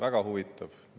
Väga huvitab.